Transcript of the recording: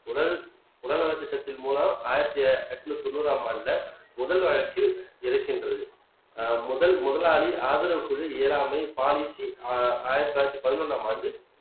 உடல் உடல் நலத் திட்டத்தின் மூலம் ஆயிரத்தி எட்நூத்தி தொண்ணூறாம் ஆண்டுல முதல் வழக்கில் இருக்கின்றது ஆஹ் முதல் முதலாளி ஆதரவுக் குழு இயலாமை பாலிசி ஆஹ் ஆயிரத்து தொள்ளாயிரத்து பதினொன்றாம் ஆண்டு